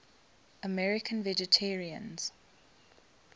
american vegetarians